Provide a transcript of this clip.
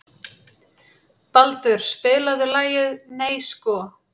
Baldur, spilaðu lagið „Nei sko“.